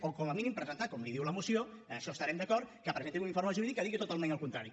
o com a mínim presentar com li diu la moció amb això devem estar d’acord un informe jurídic que digui totalment el contrari